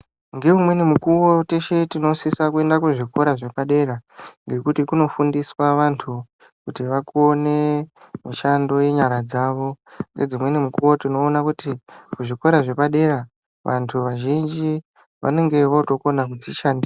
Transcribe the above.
Ngeumweni mukuwo teshe tinosisa kuenda kuzvikoro zvepadera ngekuti kunofundiswa vantu kuti vakone mishando yenyara dzawo ngedzimweni mukuwo unoona kuti kuzvikora zvepadera vantu vazhinji vanenge votokona kudzishandira.